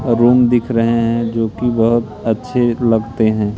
Room दिख रहे हैं जो की बहुत अच्छे लगते हैं।